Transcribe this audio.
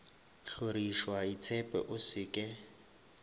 hlorišwa itshepe o se ke